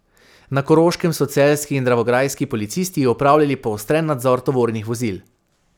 Na Koroškem so celjski in dravograjski policisti opravljali poostren nadzor tovornih vozil.